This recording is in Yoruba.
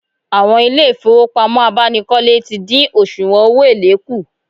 Àwọn ilé ìfowópamọ́ abánikọ́lé ti dín òsùwọ̀n owó èlé kù